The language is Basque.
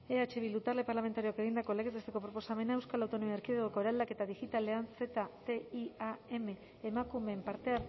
eh bildu talde parlamentarioak egindako legez besteko proposamena euskal autonomia erkidegoko eraldaketa digitalean ztiam emakumeen parte